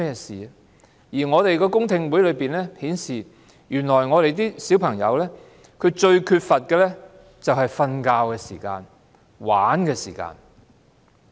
此外，公聽會上有意見指出，原來小朋友最缺乏的是睡眠和玩樂時間。